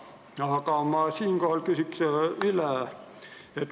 Aga ma küsin üle.